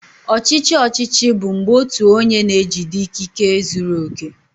Ọchịchị ọchịchị bụ mgbe otu onye na-ejide ikike zuru oke.